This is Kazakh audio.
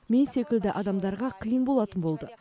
мен секілді адамдарға қиын болатын болды